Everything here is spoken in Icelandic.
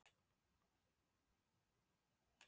Ég er ekki viss um að hann smelli beint inn í þetta.